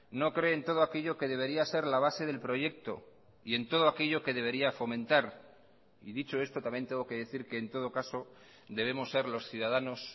no cree en todo aquello que debería ser la base del proyecto y en todo aquello que debería fomentar y dicho esto también tengo que decir que en todo caso debemos ser los ciudadanos